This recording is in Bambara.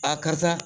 karisa